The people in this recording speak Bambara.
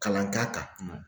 Kalan k'a kan.